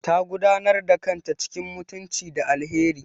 Ta gudanar da kanta cikin mutunci da alheri.